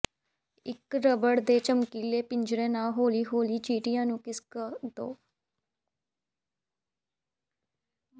ਇਕ ਰਬੜ ਦੇ ਚਮਕੀਲੇ ਪਿੰਜਰੇ ਨਾਲ ਹੌਲੀ ਹੌਲੀ ਚਿਟੀਆਂ ਨੂੰ ਖਿਸਕ ਦਿਓ